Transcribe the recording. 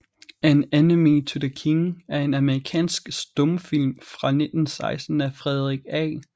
An Enemy to the King er en amerikansk stumfilm fra 1916 af Frederick A